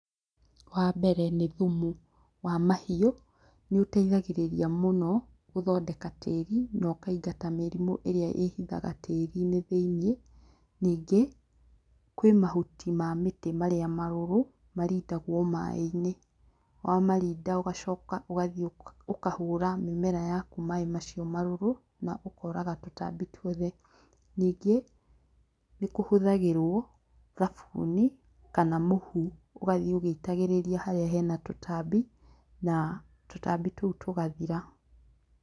Wambere nĩ thumu wa mahiũ nĩũteithagĩrĩria mũno gũthondeka tĩri na ũkaingata mĩrĩmũ ĩrĩa ĩhithaga tĩrinĩ thĩinĩ, ningĩ kwĩ mahuti ma mĩtĩ marĩa marũrũ marindagwo maaĩ-inĩ wamarinda ũgacoka ũgathie ũkahũra mĩmera yaku maaĩ macio marũrũ ũkoraga tũtambi tuothe ningĩ nĩkũhũthagĩrwo thabuni kana mũhu ũgathie ũgĩitagĩrĩria harĩa hena tũtambi na tũtambi tũu tũgathira.